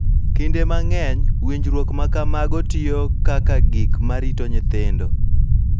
Kinde mang�eny, winjruok ma kamago tiyo kaka gik ma rito nyithindo,